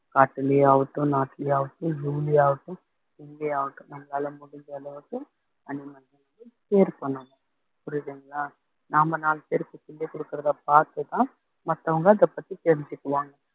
காட்டுலயே ஆகட்டும் நாட்டுலயே ஆகட்டும் zoo ல ஆகட்டும் இங்கயே ஆகட்டும் நம்மளால முடிஞ்ச அளவுக்கு animals க்கு cheer பண்ணணும் புரியுதுங்களா நாம நாலு பேருக்கு சொல்லி குடுக்கறதை பாத்துதான் மத்தவங்க அதப்பத்தி தெரிஞ்சுக்குவாங்க